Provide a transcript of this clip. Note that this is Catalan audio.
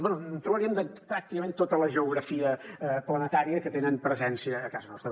bé en trobaríem de pràcticament tota la geografia planetària que tenen presència a casa nostra